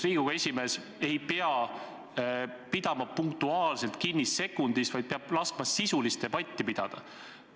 Riigikogu esimees ei pea punktuaalselt sekunditest kinni pidama, vaid peab laskma sisulist debatti pidada.